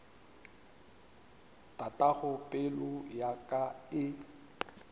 tatago pelo ya ka e